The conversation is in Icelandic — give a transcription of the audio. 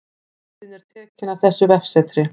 Myndin er tekin af þessu vefsetri